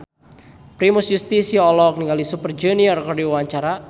Primus Yustisio olohok ningali Super Junior keur diwawancara